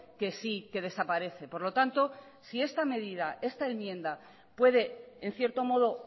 que sí que desaparece por lo tanto si esta medida esta enmienda puede en cierto modo